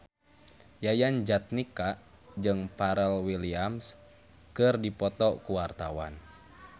Yayan Jatnika jeung Pharrell Williams keur dipoto ku wartawan